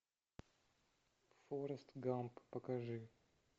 форест гамп покажи